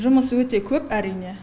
жұмыс өте көп әрине